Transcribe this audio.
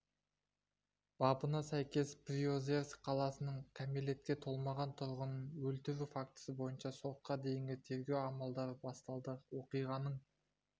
бабына сәйкес приозерск қаласының кәмелетке толмаған тұрғынын өлтіру фактісі бойынша сотқа дейінгі тергеу амалдары басталды оқиғаның